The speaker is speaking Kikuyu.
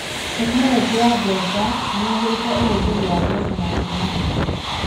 Tekinoronjĩ ya mbeca nĩyagĩrĩtie ũhũthĩri wa mbeca na njĩra njega.